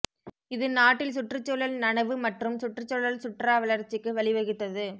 இது நாட்டில் சுற்றுச்சூழல் நனவு மற்றும் சுற்றுச்சூழல் சுற்றுலா வளர்ச்சிக்கு வழிவகுத்தது